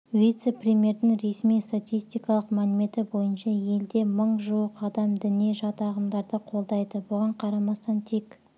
вице-премьердің ресми статистикалық мәліметі бойынша елде мың жуық адам діни жат ағымдарды қолдайды бұған қарамастан тек